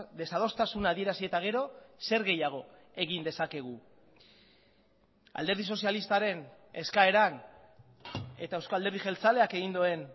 desadostasuna adierazi eta gero zer gehiago egin dezakegu alderdi sozialistaren eskaeran eta euzko alderdi jeltzaleak egin duen